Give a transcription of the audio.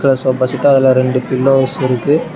அது sofa set அதுல ரெண்டு பில்லோஸ் இருக்கு.